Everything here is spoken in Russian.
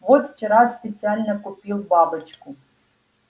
вот вчера специально купил бабочку